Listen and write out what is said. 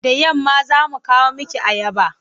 Da yamma za mu kawo miki ayaba.